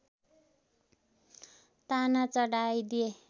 ताना चढाइदिए